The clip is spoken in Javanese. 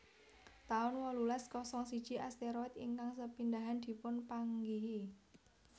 taun wolulas kosong siji Asteroid ingkang sepindhahan dipun panggihi